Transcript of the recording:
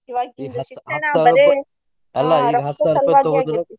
ಈವಾಗಿನ ಶಿಕ್ಷಣ ಬರೆ ಹಾ ರೊಕ್ಕದ್ ಸಲ್ವಾಗಿ ಆಗಿ.